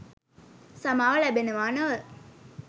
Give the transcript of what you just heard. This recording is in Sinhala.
සමාව ලැබෙනවා නොව